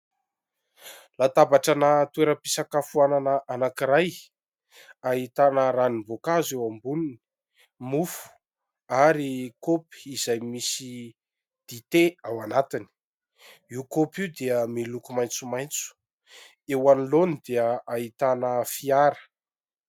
Latabatrana toeram-pisakafoanana anankiray, ahitana ranomboakazo eo amboniny, mofo ary kaopy izay misy dite ao anatiny. Io kaopy io dia miloko maintsomaintso, eo anoloany dia ahitana fiara.